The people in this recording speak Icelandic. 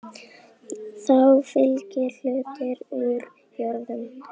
Þeim mun meira, því betra.